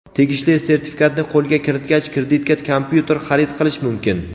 tegishli sertifikatni qo‘lga kiritgach kreditga kompyuter xarid qilish mumkin.